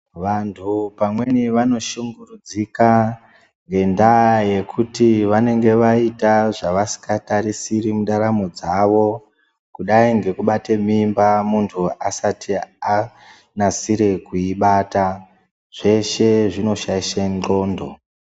Vantu pamweni vanoshungurudzika ngendaa yekuti vanenge vaita zvavasikatarisiri mundaramo dzawo kudai ngekubate mimba muntu asati anasire kuibata zveshe zvinoshaishe ndxondo.